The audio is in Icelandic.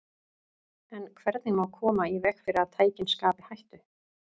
En hvernig má koma í veg fyrir að tækin skapi hættu?